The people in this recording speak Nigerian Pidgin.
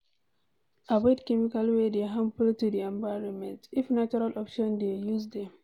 Avoid chemicals wey dey harmful to di environment, if natural options dey, use dem